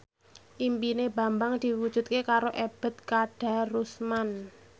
impine Bambang diwujudke karo Ebet Kadarusman